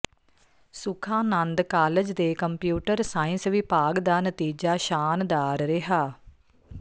Sukhanand college ਦੇ computer science ਵਿਭਾਗ ਦਾ ਨਤੀਜਾ ਸ਼ਾਨਦਾਰ ਰਿਹਾ